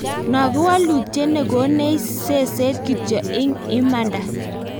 No kowalutie ne konech seset kityo ing imanda.